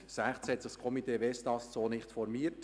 Im Jahr 2016 formierte sich das Komitee «Westast so nicht».